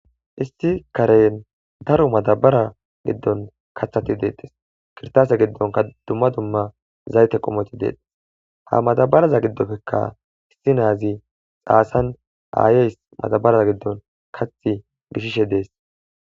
isti karen daro matabara giddon kathati deettes kirtase giddonka dumma dumma zayte qomoti deettes ha matabaraza giddopfekka isti naazi xaasan aayeys matabaraz giddon kathi gishishe dees